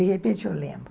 De repente eu lembro.